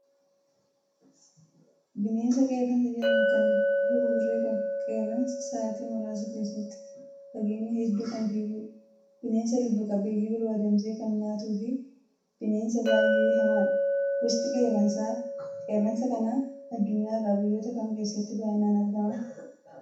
Bineensa Qeerransa jedhamu, kan bifa buburree qabu. Qeerransi sa'atii muraasa keessatti fageenya hedduu kan fiigudha. Bineensa lubbu qabeeyyii biroo adamsee kan nyaatuu fi bineensa baay'ee hamaadha. Gosti qeerransa kanaa addunyaa irraa biyyoota kam keessatti baay'inaan argama?